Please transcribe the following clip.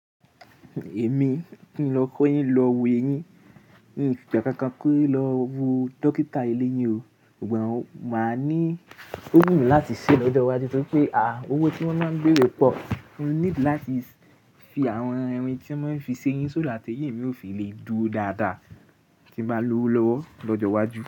Èmi ni lọ kọ́ yín, lọ wo eyín. N o gbà kankan pé lọ wo dókítà ilé yín o, ọ̀gbọ́n máa ní ògùn láti ṣe lọ́jọ́ iwájú. Tó ri pé à, owó tí wọ́n má ń bere po, mo niidi láti fi àwọn irin tí wọ́n maa n fi ṣe eyín, so that éyìn mí ò fi lè dúró dáadáa tí bá lówó lọ́wọ́ lọ́jọ́ iwájú.